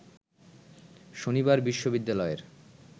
শনিবার বিশ্ববিদ্যালয়ের